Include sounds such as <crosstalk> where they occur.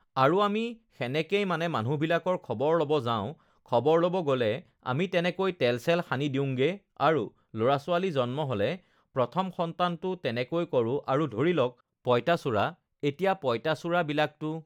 <sings> আৰু আমি সেনেকেই মানে মানুহবিলাকৰ খবৰ ল'ব যাওঁ খবৰ ল'ব গ'লে আমি তেনেকৈ তেল-চেল সানি দিওঁংগে আৰু ল'ৰা-ছোৱালী জন্ম হ'লে প্ৰথম সন্তানটো তেনেকৈ কৰোঁ আৰু ধৰি লওক পঁইতাচোৰা এতিয়া পঁইতাচোৰাবিলাকটো